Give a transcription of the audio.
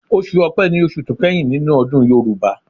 Ọsù ọpé ní oṣù tó kẹ́yìn nínú ọdún Yorùbá.